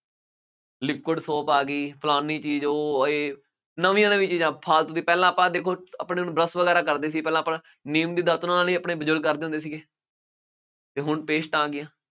liquid soap ਆ ਗਈ, ਫਲਾਨੀ ਚੀਜ਼ ਉਹ, ਇਹ, ਨਵੀਆਂ ਨਵੀਆਂ ਚੀਜ਼ਾਂ, ਫਾਲਤੂ ਦੇ ਪਹਿਲਾਂ ਆਪਾਂ ਦੇਖੋ ਆਪਣੇ ਹੁਣ brush ਵਗੈਰਾ ਕਰਦੇ ਸੀ, ਪਹਿਲਾ ਆਪਣੇ ਨੀਮ ਦੀ ਦਾਤਣ ਨਾਲ ਹੀ ਆਪਣੇ ਬਜ਼ੁਰਗ ਕਰਦੇ ਹੁੰਦੇ ਸੀਗੇ, ਅਤੇ ਹੁਣ ਪੇਸਟਾਂ ਆ ਗਈਆਂ।